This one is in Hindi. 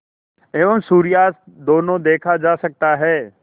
एवं सूर्यास्त दोनों देखा जा सकता है